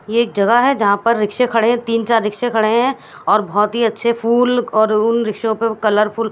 ये एक जगह है यहां पर रिक्शे खड़े तीन चार रिक्शे खड़े हैं और बहुत ही अच्छे फूल और उन रिक्शों पे कलरफुल --